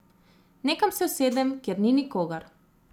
Nekam se usedem, kjer ni nikogar.